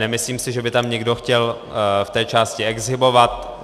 Nemyslím si, že by tam někdo chtěl v té části exhibovat.